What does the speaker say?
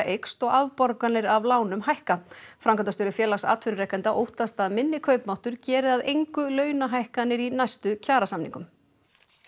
eykst og afborganir af lánum hækka framkvæmdastjóri Félags atvinnurekenda óttast að minni kaupmáttur geri að engu launahækkanir í næstu kjarasamningum